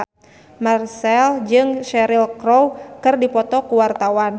Marchell jeung Cheryl Crow keur dipoto ku wartawan